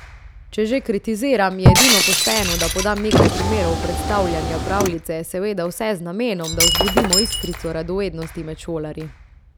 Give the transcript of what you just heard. Če že kritiziram, je edino pošteno, da podam nekaj primerov predstavljanja pravljice, seveda vse z namenom, da vzbudimo iskrico radovednosti med šolarji.